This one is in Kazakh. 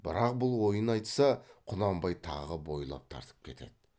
бірақ бұл ойын айтса құнанбай тағы бойлап тартып кетеді